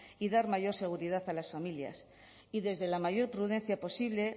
y dar mayor seguridad a las familias y desde la mayor prudencia posible